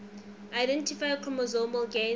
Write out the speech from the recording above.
identify chromosomal gains